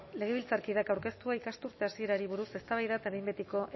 legebiltzarkideak aurkeztua ikasturte hasierari buruz eztabaida eta behin betiko